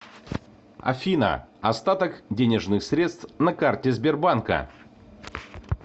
афина остаток денежных средств на карте сбербанка